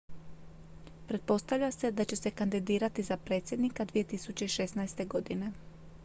pretpostavlja se da će se kandidirati za predsjednika 2016. godine